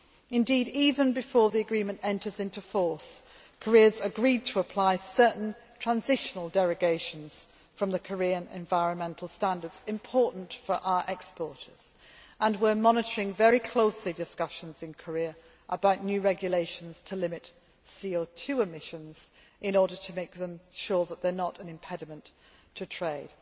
Indeed, even before the agreement enters into force, Korea has agreed to apply certain transitional derogations from the Korean environmental standards important for our exporters and we are monitoring very closely discussions in Korea about new regulations to limit CO 2 emissions in order to make them show that they are not an impediment to trade.